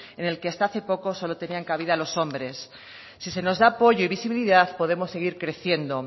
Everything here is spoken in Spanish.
en el que hasta hace poco solo tenían cabida los hombres si se nos da apoyo y visibilidad podemos seguir creciendo